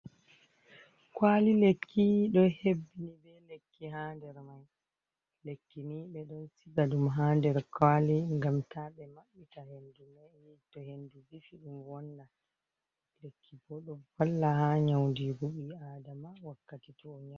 Kwali lekki ɗo hebbini bei lekki ha der man, lekkini ɓedon siga ɗum ha nder kwali ngam ta ɓe maɓɓita hendu mema toh hendu vifi ɗum wonnan, lekki bo ɗo valla ha nyaundi gu ɓii adama wakkati toh O.